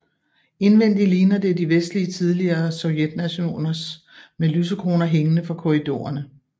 Indvendigt ligner det de vestlige tidligere Sovjetnationers med lysekroner hængende fra korridorerne